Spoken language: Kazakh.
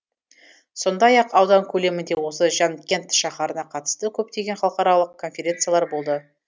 сондай ақ аудан көлемінде осы жанкент шаһарына қатысты көптеген халықаралық конференциялар болды